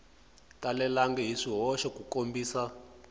talelangi hi swihoxo ku kombisa